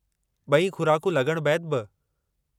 ब॒ई खु़राकूं लॻण बैदि बि।